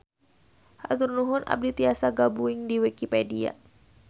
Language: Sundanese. Hatur nuhun abdi tiasa gabuing di wikipedia.